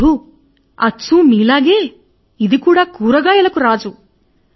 ప్రభు అచ్చు మీ వలెనె ఇది కూడా కూరగాయలకు రాజు